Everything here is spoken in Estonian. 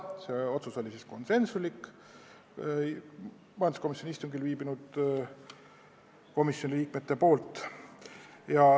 Selle poolt olid konsensusega kõik istungil viibinud komisjoni liikmed.